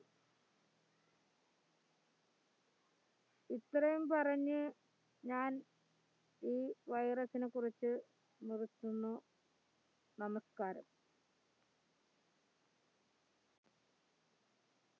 ഇത്രയും പറഞ്ഞ് ഞാൻ ഈ virus നെ കുറിച്ച് നിർത്തുന്നു നമസ്കാരം